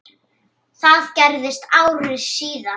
Það gerðist ári síðar.